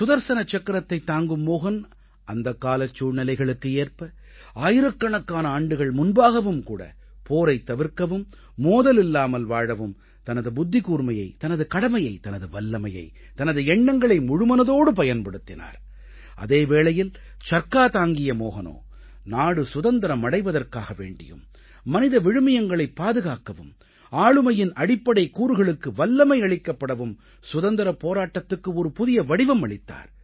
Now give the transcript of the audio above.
சுதர்ஸன சக்கரத்தைத் தாங்கும் மோஹன் அந்தக்காலச் சூழ்நிலைகளுக்கு ஏற்ப ஆயிரக்கணக்கான ஆண்டுகள் முன்பாகவும் கூட போரைத் தவிர்க்கவும் மோதலில்லாமல் வாழவும் தனது புத்திகூர்மையை தனது கடமையை தனது வல்லமையை தனது எண்ணங்களை முழுமனதோடு பயன்படுத்தினார் அதே வேளையில் சர்க்கா தாங்கிய மோஹனோ நாடு சுதந்திரம் அடைவதற்காக வேண்டியும் மனித விழுமியங்களைப் பாதுகாக்கவும் ஆளுமையின் அடிப்படைக் கூறுகளுக்கு வல்லமை அளிக்கப்படவும் சுதந்திரப் போராட்டத்துக்கு ஒரு புதிய வடிவம் அளித்தார்